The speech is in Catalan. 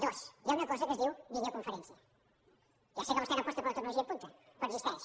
dos hi ha una cosa que es diu videoconferència ja sé que vostè no aposta per la tecnologia punta però existeix